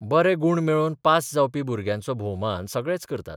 बरे गुण मेळोवन पास जावपी भुरग्यांचो भोवमान सगळेच करतात.